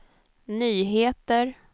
nyheter